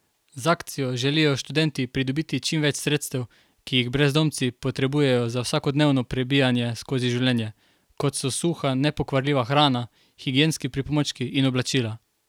Z akcijo želijo študenti pridobiti čim več sredstev, ki jih brezdomci potrebujejo za vsakodnevno prebijanje skozi življenje, kot so suha, nepokvarljiva hrana, higienski pripomočki in oblačila.